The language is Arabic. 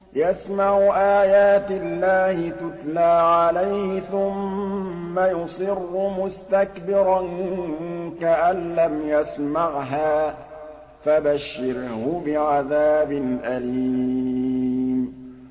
يَسْمَعُ آيَاتِ اللَّهِ تُتْلَىٰ عَلَيْهِ ثُمَّ يُصِرُّ مُسْتَكْبِرًا كَأَن لَّمْ يَسْمَعْهَا ۖ فَبَشِّرْهُ بِعَذَابٍ أَلِيمٍ